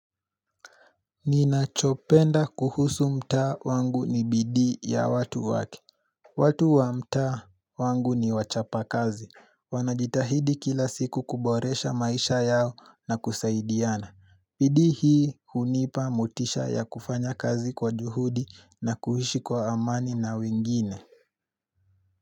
Nina chopenda kuhusu mtaa wangu ni bidii ya watu wake watu wa mtaa wangu ni wachapa kazi Wanajitahidi kila siku kuboresha maisha yao na kusaidiana bidii hii hunipa motisha ya kufanya kazi kwa juhudi na kuhishi kwa amani na wengine.